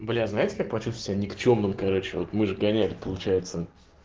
блин знаешь я против себя никчёмным короче вот мы же гоняют получается